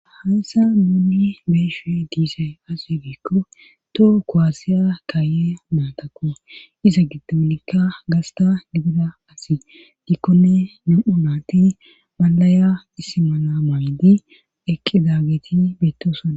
hayssa muuni beeshe diisay asebeekko toho kowaasiya kaaye maatakko iza gidomnikka gasta digida asi dikkonne nam7u naati malaya issimana maydi eqi dageti beettosana